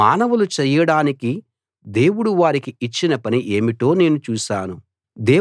మానవులు చేయడానికి దేవుడు వారికి ఇచ్చిన పని ఏమిటో నేను చూశాను